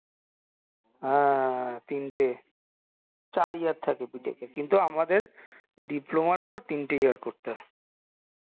হ্যাঁ তিনটে চার year থাকে B tech এ কিন্তু আমাদের diploma র পর তিনটে year করতে হয়